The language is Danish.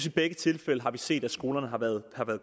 i begge tilfælde har set at skolerne har været